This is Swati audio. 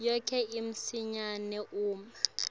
yakho masinyane uma